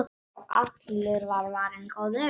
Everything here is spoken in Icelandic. Já, allur var varinn góður!